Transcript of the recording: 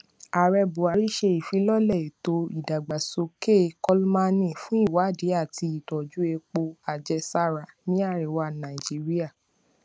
ààrẹ buhari ṣe ìfilọlẹ ètò ìdàgbàsókè kolmani fún ìwádìí àti ìtọjú epo àjẹsára ní àríwá nàìjíríà